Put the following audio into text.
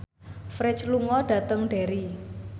Ferdge lunga dhateng Derry